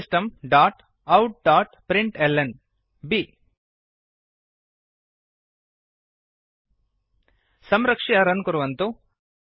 system dot out dot println बि संरक्ष्य run कुर्वन्तु